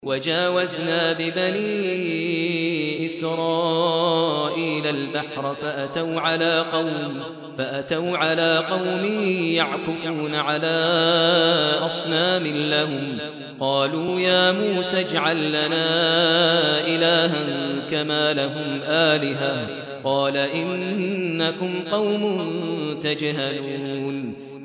وَجَاوَزْنَا بِبَنِي إِسْرَائِيلَ الْبَحْرَ فَأَتَوْا عَلَىٰ قَوْمٍ يَعْكُفُونَ عَلَىٰ أَصْنَامٍ لَّهُمْ ۚ قَالُوا يَا مُوسَى اجْعَل لَّنَا إِلَٰهًا كَمَا لَهُمْ آلِهَةٌ ۚ قَالَ إِنَّكُمْ قَوْمٌ تَجْهَلُونَ